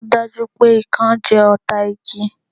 Ò dá jú pé Ikán jẹ́ ọ̀tá igi